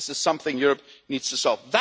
This is something Europe needs to solve.